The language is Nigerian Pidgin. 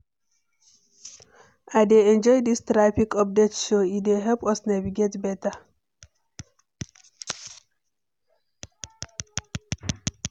I dey enjoy dis traffic update show; e dey help us navigate beta.